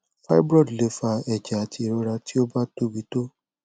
fibroid le fa ẹjẹ ati irora ti o ba tobi to